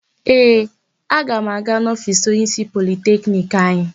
Ee, aga m aga n'ofiisi onyeísí Politekniki anyị.